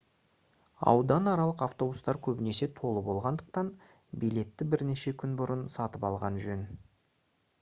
ауданаралық автобустар көбінесе толы болатындықтан билетті бірнеше күн бұрын сатып алған жөн